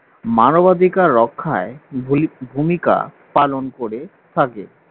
মানবাধিকার রক্ষায় ভূমিকা পালন করে থাকে